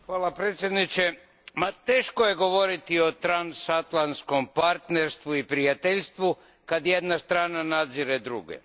Gospodine predsjedniče, teško je govoriti o transatlantskom partnerstvu i prijateljstvu kad jedna strana nadzire druge.